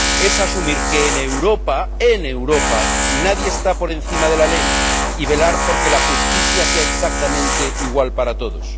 Es asumir que en Europa, en Europa, nadie está por encima de la ley y velar por que la justicia sea exactamente igual para todos.